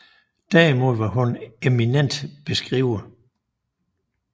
Derimod var hun en eminent brevskriver